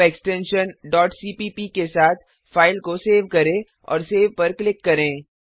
अब extension cpp के साथ फाइल को सेव करें और सेव पर क्लिक करें